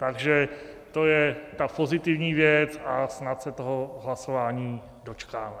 Takže to je ta pozitivní věc a snad se toho hlasování dočkáme.